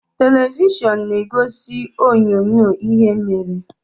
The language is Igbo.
Televishọn na-egosi onyoonyo ihe mere.